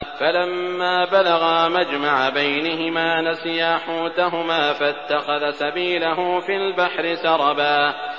فَلَمَّا بَلَغَا مَجْمَعَ بَيْنِهِمَا نَسِيَا حُوتَهُمَا فَاتَّخَذَ سَبِيلَهُ فِي الْبَحْرِ سَرَبًا